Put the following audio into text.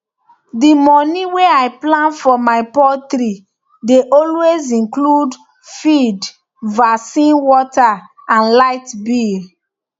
d moni wey i plan for my poultry dey always include feed vaccine water and light bill